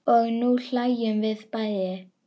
Og nú hlæjum við bæði.